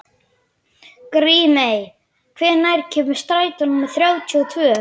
Grímey, hvenær kemur strætó númer þrjátíu og tvö?